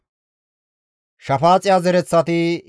Arahe zereththati 775,